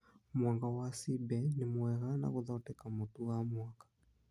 Mwanga wa cibe nĩ mwega na gũthondeka mũtu wa mwanga